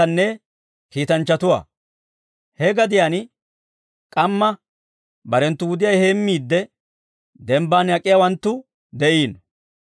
He gadiyaan k'amma barenttu wudiyaa heemmiidde dembban ak'iyaawanttu de'iino.